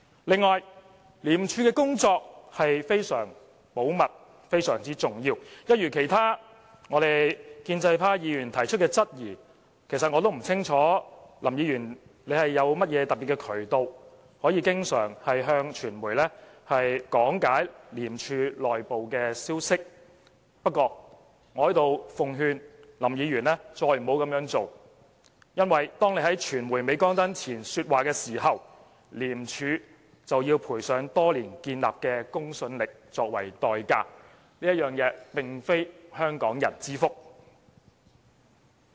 此外，廉署的工作是非常保密和非常重要的，一如其他建制派議員所提出的質疑——其實我也不清楚林議員有甚麼特別的渠道可以經常向傳媒講解廉署內部消息——不過，我在這裏奉勸林議員不要再這樣做，因為當他在傳媒鎂光燈前說話時，廉署就要賠上多年建立的公信力作為代價，這並非香港人之福。